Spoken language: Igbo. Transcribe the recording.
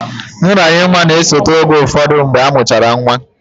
Nranye nwa na-esote oge ụfọdụ mgbe amụchara nwa